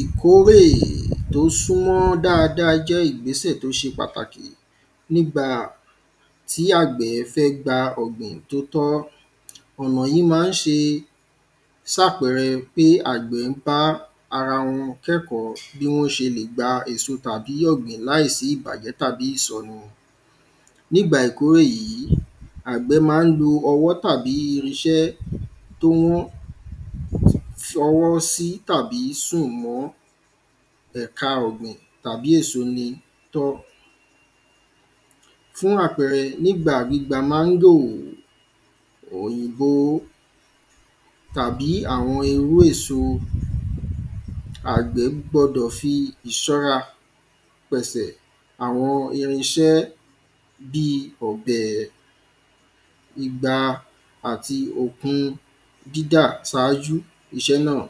Ìkórè tó súnmọ́ dáada jẹ́ ìgbésẹ̀ tó ṣe pàtàkì nígbà tí àgbẹ̀ fẹ́ gba ọ̀gbìn tó tọ́. Ọ̀nà yìí má ń ṣe sàpẹrẹ pé àgbẹ̀ má ń bá ara wọn kẹ́kọ̀ọ́ bí wọ́n ṣe lè gba èso tàbí ọ̀gbìn láìsí ìbàjẹ́ tàbí ìsọnù ní ìgbà ìkórè yìí àgbẹ̀ má ń lo ọwọ́ tàbí irinṣẹ́ tó ń fọwọ́ sí tàbí sùnwọ́n ẹ̀ka ọ̀gbìn tàbí èso ni. Fún àpẹrẹ nígbà gbígba mángò òyìnbó tàbí àwọn ewé èso àgbẹ̀ gbọdọ̀ fi ìṣọ́ra pẹ̀sẹ̀ àwọn irinṣẹ́ bí ọ̀bẹ̀ igba àti òpin dídà sájú iṣẹ́ náà.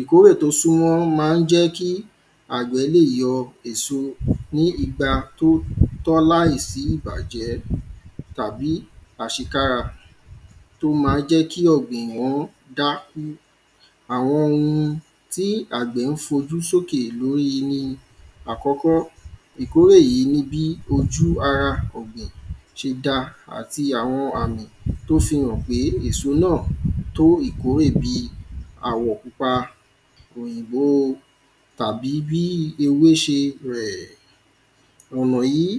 Ìkórè tó súnmọ́ má ń jẹ́ kí àgbẹ̀ lè yọ èso ní igba tó tọ́ láì sí ìbàjẹ́ tàbí àṣekára tó má jẹ́ kí ọ̀gbìn ó dá àwọn ohun tí àgbẹ̀ ń fojú sókè lóyí ni àkọ́kọ́ ìkórè yìí ni bí ojú ara ọ̀gbìn ṣe dá àti àwọn àmì tó fi hàn pé èso náà tó ìkórè bí àwọ̀ pupa òyìnbó tàbí bí ewé ṣe rẹ̀. Ọ̀nà yìí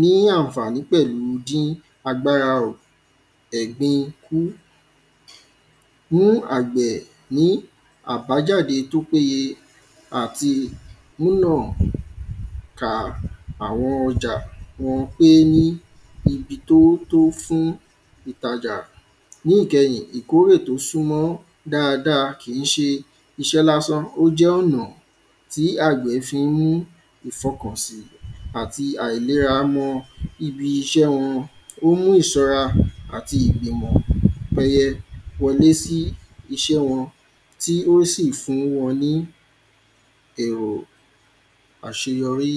ní ànfàní pẹ̀lú dín ẹ̀gbin kú fún àgbẹ̀ ní àbájáde tó péye àti nínà ta àwọn ọjà wọn pé ní ibi tó tó fún ìtajà. Ní ìkẹyìn ìkórè tó súnmọ́ dáada iṣẹ́ lásán ó jẹ́ ọ̀nà tí àgbẹ̀ fi ń mú ìfọkàn sì àti àìléra mọ ibi iṣẹ́ wọn ó mú ìsọ́ra ti ìbìmọ̀ wọlé sí iṣẹ́ wọn tí ó sì fún wọn ní èrò àṣeyọrí.